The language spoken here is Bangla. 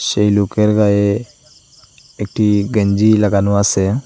এই লুকের গায়ে একটি গেঞ্জি লাগানো আসে।